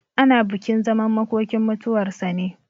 Ana bukin zaman makokinmutuwar sa ne.